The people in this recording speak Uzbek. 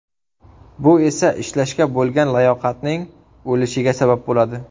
Bu esa ishlashga bo‘lgan layoqatning o‘lishiga sabab bo‘ladi.